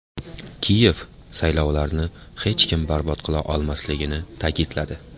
Kiyev saylovlarni hech kim barbod qila olmasligini ta’kidladi.